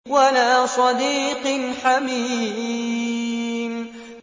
وَلَا صَدِيقٍ حَمِيمٍ